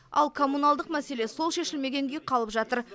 ал коммуналдық мәселе сол шешілмеген күйі қалып жатыр